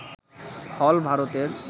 হল ভারতের